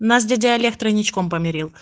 нас дядя олег тройничком помирил